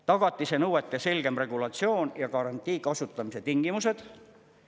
Tagatise nõuete selgem regulatsioon ja garantii kasutamise tingimused.